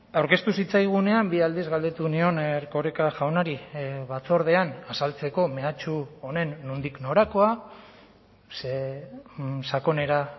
aurkeztu zitzaigunean bi aldiz galdetu nion erkoreka jaunari batzordean azaltzeko mehatxu honen nondik norakoa ze sakonera